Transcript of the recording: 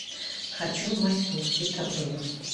хочу в майсур из трабзона